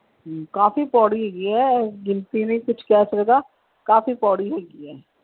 ਕਾਫੀ ਪੋੜੀ ਹੈਗੀ ਹੈ ਕੁੱਛ ਕਹਿ ਸਕਦਾ ਕਾਫੀ ਪੌੜੀ ਹੈਗੀ ਆ।